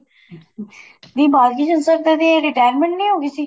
ਨੀਂ ਬਾਲ ਕ੍ਰਿਸ਼ਨ sir ਦੀ retirement ਨੀਂ ਹੋ ਗਈ ਸੀ